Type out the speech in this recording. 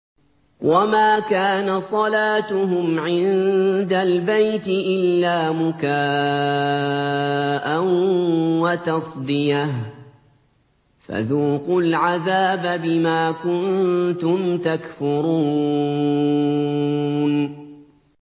وَمَا كَانَ صَلَاتُهُمْ عِندَ الْبَيْتِ إِلَّا مُكَاءً وَتَصْدِيَةً ۚ فَذُوقُوا الْعَذَابَ بِمَا كُنتُمْ تَكْفُرُونَ